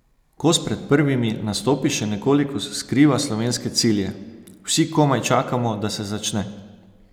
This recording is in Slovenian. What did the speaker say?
Kos pred prvimi nastopi še nekoliko skriva slovenske cilje: "Vsi komaj čakamo, da se začne.